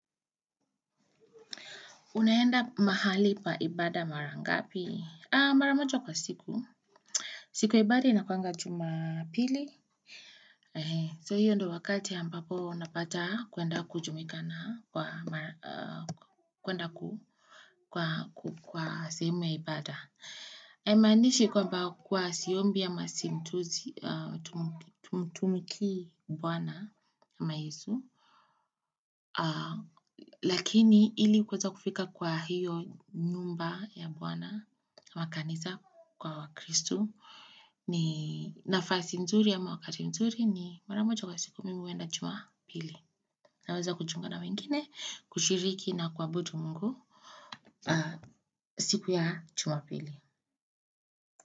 Unaenda mahali pa ibada mara ngapi? Mara moja kwa siku. Siku ya ibada inakuanga jumapili. So hiyo ndo wakati ampapo unapata kuenda kujumuika na kwa sehemu ya ibada. Haimanishi kwamba huwa siombi ama simtumtmikii bwana ama Yesu. Lakini ili kueza kufika kwa hiyo nyumba ya Bwana. Wakanisa kwa wakristu ni nafasi nzuri ama wakati nzuri ni mara moja kwa siku mimi huenda jumapili naweza kuchunga na wengine kushiriki na kuabudu Mungu siku ya chumapili.